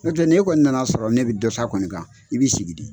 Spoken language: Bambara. N'o tɛ n'e kɔni nana sɔrɔ ne bɛ dɔ ta kɔni kan i bi sigi de.